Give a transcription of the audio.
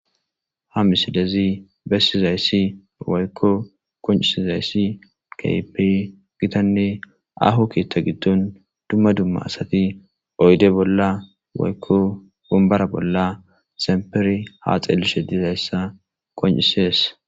ha misilezi bessizayssi waykko qoncisi zayssi kehipe gitanne aho keetta giddon dumma dumma asati oyde bolla waykko wombara bolla zemperi ha xeellishe dizayssa qoncisees